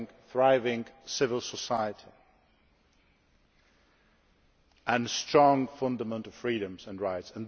for a thriving civil society and strong fundamental freedoms and rights.